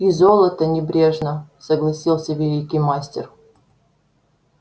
и золото небрежно согласился великий мастер